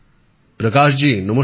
প্রকাশজি নমস্কার